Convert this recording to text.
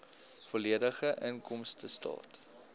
volledige inkomstestaat